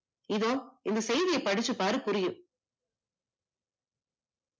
இந்த செய்தியை படிச்சு பாரு புரியும்